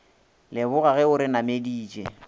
leboga ge o re nameditše